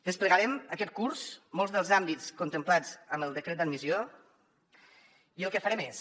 desplegarem aquest curs molts dels àmbits contemplats en el decret d’admissió i el que farem és